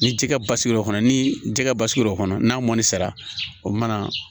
Ni ji kɛ basigi o kɔnɔ ni jɛgɛ basigi l'o kɔnɔ n'a mɔni sera o mana